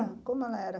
Como ela era?